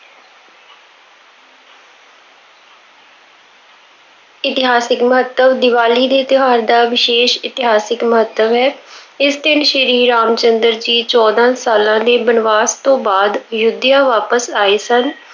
ਇਤਿਹਾਸਿਕ ਮਹੱਤਵ- ਦੀਵਾਲੀ ਦੇ ਤਿਉਹਾਰ ਦਾ ਵਿਸ਼ੇਸ਼ ਇਤਿਹਾਸਿਕ ਮਹੱਤਵ ਹੈ। ਇਸ ਦਿਨ ਸ਼੍ਰੀ ਰਾਮ ਚੰਦਰ ਜੀ ਚੋਦਾਂ ਸਾਲਾਂ ਦੇ ਬਨਵਾਸ ਤੋਂ ਬਾਅਦ ਅਯੁੱਧਿਆ ਵਾਪਸ ਆਏ ਸਨ।